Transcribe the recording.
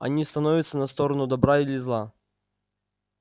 они становятся на сторону добра или зла